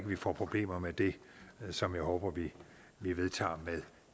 vi får problemer med det som jeg håber vi vedtager med